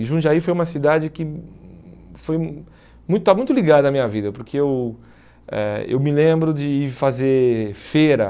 E Jundiaí foi uma cidade que hum foi um muito estava muito ligada à minha vida, porque eu eh eu me lembro de ir fazer feira.